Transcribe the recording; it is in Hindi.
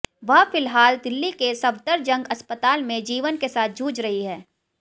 वह फिलहाल दिल्ली के सफदरजंग अस्पताल में जीवन के साथ जूझ रही है